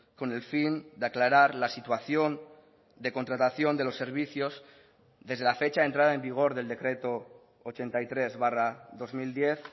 con el fin de aclarar la situación de contratación de los servicios desde la fecha de entrada en vigor del decreto ochenta y tres barra dos mil diez